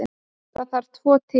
Þar þarf tvo til.